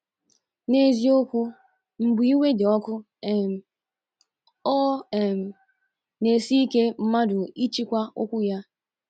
N’eziokwu, mgbe iwe dị ọkụ, um ọ um na - esi ike mmadụ ịchịkwa ọkwu ya.